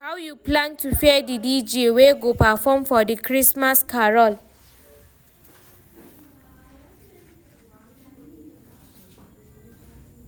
how you plan to pay the DJ wey go perform for di Christmas carol